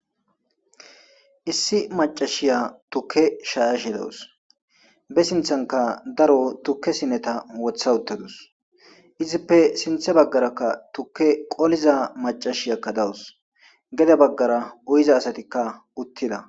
Issi maccashiya tukke shayashe deawusi be sinthanikka daro sintena wotha utadus izippe sintha bagarakka tukke qoliza machashiya dawusi dug bagara goyiza asatikka utida